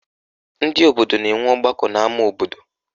Ndị obodo na-enwe ọgbakọ n'ama obodo